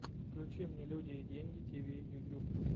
включи мне люди и деньги тиви ютюб